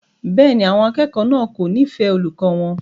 Bẹ́ẹ̀ni, àwọn akẹ́kọ̀ọ́ náà kò nífẹ̀ẹ́ olùkọ́ wọn.